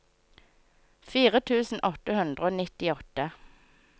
fire tusen åtte hundre og nittiåtte